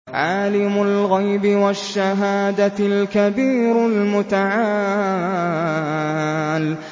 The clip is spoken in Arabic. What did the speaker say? عَالِمُ الْغَيْبِ وَالشَّهَادَةِ الْكَبِيرُ الْمُتَعَالِ